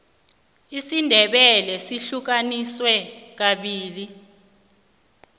isindebele sihlukaniswe kabili